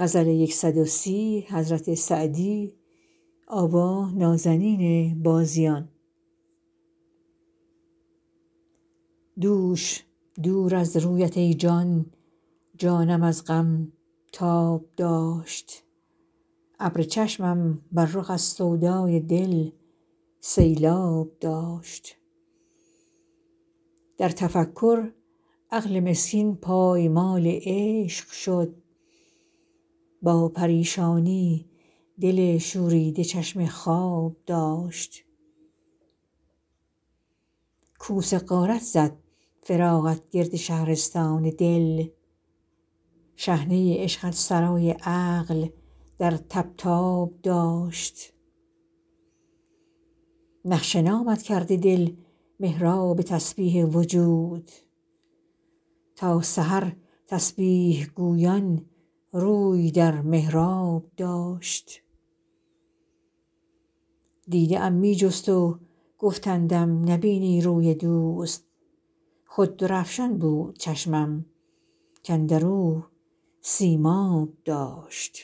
دوش دور از رویت ای جان جانم از غم تاب داشت ابر چشمم بر رخ از سودای دل سیلآب داشت در تفکر عقل مسکین پایمال عشق شد با پریشانی دل شوریده چشم خواب داشت کوس غارت زد فراقت گرد شهرستان دل شحنه عشقت سرای عقل در طبطاب داشت نقش نامت کرده دل محراب تسبیح وجود تا سحر تسبیح گویان روی در محراب داشت دیده ام می جست و گفتندم نبینی روی دوست خود درفشان بود چشمم کاندر او سیماب داشت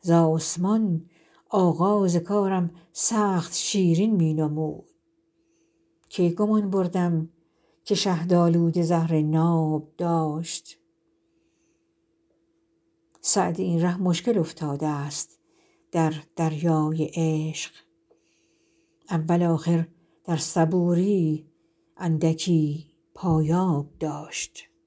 ز آسمان آغاز کارم سخت شیرین می نمود کی گمان بردم که شهدآلوده زهر ناب داشت سعدی این ره مشکل افتادست در دریای عشق اول آخر در صبوری اندکی پایاب داشت